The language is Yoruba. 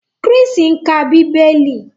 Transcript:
Chris ń ká Bíbélì.